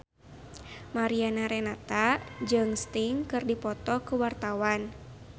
Mariana Renata jeung Sting keur dipoto ku wartawan